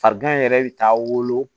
Farigan in yɛrɛ bɛ taa wolo